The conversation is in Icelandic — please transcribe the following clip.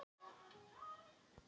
Lét ekki ögra sér